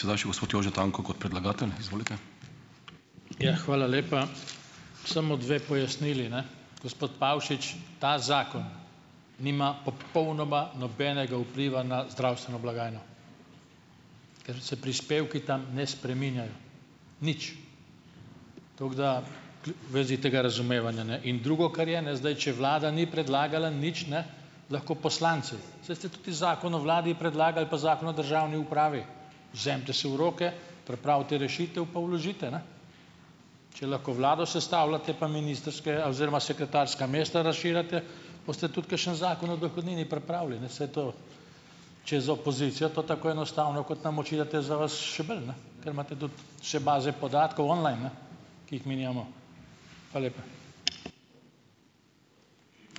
Ja, hvala lepa. Samo dve pojasnili, ne. Gospod Pavšič, ta zakon nima popolnoma nobenega vpliva na zdravstveno blagajno, ker se prispevki tam ne spreminjajo nič. Tako da, k vezi tega razumevanja, ne. In drugo, kar je, ne. Zdaj, če vlada ni predlagala nič, ne, lahko poslanci. Saj ste tudi zakon o vladi predlagali pa zakon o državni upravi. Vzemite si v roke, pripravite rešitev pa vložite, ne. Če lahko vlado sestavljate pa ministrska oziroma sekretarska mesta razširjate, boste tudi kakšen zakon o dohodnini pripravili. Ne, saj to, če je za opozicijo to tako enostavno, kot nam očitate, je za vas še bolj, ne, ker imate tudi vse baze podatkov online, ne, ki jih mi nimamo. Hvala lepa.